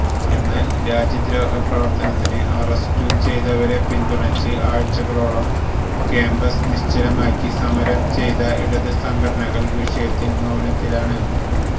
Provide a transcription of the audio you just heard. എന്നാല് രാജ്യദ്രോഹ പ്രവര്ത്തനത്തിന് അറസ്റ്റു ചെയ്തവരെ പിന്തുണച്ച് ആഴ്ചകളോളം കാമ്പസ് നിശ്ചലമാക്കി സമരം ചെയ്ത ഇടത് സംഘടനകള് വിഷയത്തില് മൌനത്തിലാണ്